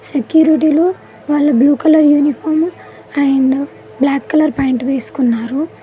సెక్యూరిటీలు వాళ్ళు blue colour uniform and black colour pant వేసుకున్నారు.